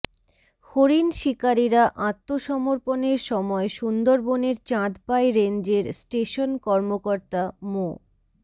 হরিণ শিকারিরা আত্মসমর্পণের সময় সুন্দরবনের চাঁদপাই রেঞ্জের স্টেশন কর্মকর্তা মো